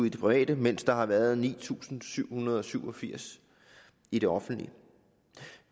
i det private mens der har været ni tusind syv hundrede og syv og firs i det offentlige